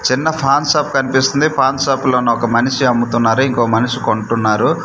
చిన్న ఫాన్ షాప్ కన్పిస్తుంది పాన్ షాప్ లోన ఒక మనిషి అమ్ముతున్నారు ఇంకొ మనిషి కొంటున్నారు.